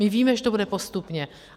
My víme, že to bude postupně.